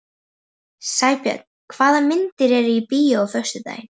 Sæbjörn, hvaða myndir eru í bíó á föstudaginn?